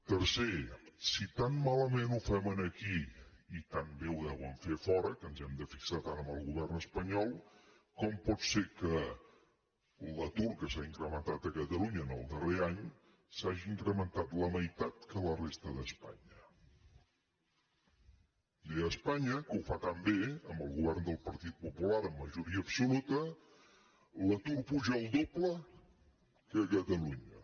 tercer si tan malament ho fem aquí i tan bé ho deuen fer a fora que ens hem de fixar tant en el govern espanyol com pot ser que l’atur que s’ha incrementat a catalunya el darrer any s’hagi incrementat la meitat que a la resta d’espanya és a dir a espanya que ho fa tan bé amb el govern del partit popular amb majoria absoluta l’atur puja el doble que a catalunya